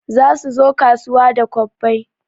Za suzo kasuwa da kwabbai